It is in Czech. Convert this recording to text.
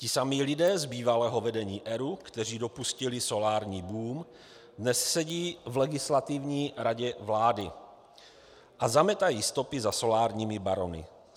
"Ti samí lidé z bývalého vedení ERÚ, kteří dopustili solární boom, dnes sedí v Legislativní radě vlády a zametají stopy za solárními barony.